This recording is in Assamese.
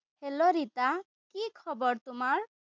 hello ৰিতা! কি খবৰ তোমাৰ?